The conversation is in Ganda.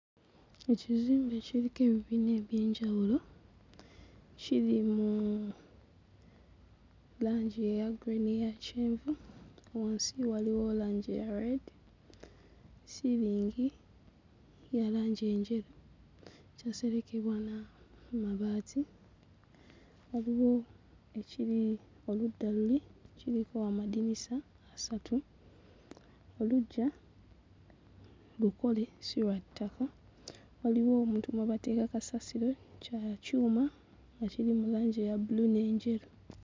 Ekizimbe kiriko ebibiina eby'enjawulo kiri mu langi eya grey n'eya kyenvu, wansi walwo langi eya red ssiiringi ya langi njeru yaserekebwa n'amabaati, waliwo ekiri oludda luli kiriko amadinisa asatu, oluggya lukole si lwa ttaka waliwo obuntu mwe bateeka kasasiro kya kyuma nga kiri mu langi eya bbulu n'enjeru.